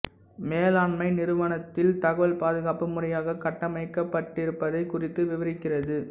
மேலாண்மை நிறுவனத்தில் தகவல் பாதுகாப்பு முறையாக கட்டமைக்கப்பட்டிருப்பதைக் குறித்து விவரிக்கிறது